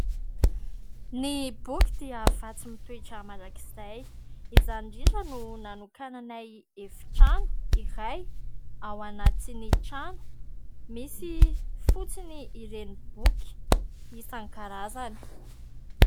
Ny boky dia vatsy mitoetra mandrakizay. Izany indrindra no nanokananay efitrano iray ao anatin'ny trano misy fotsiny ireny boky isankarazany.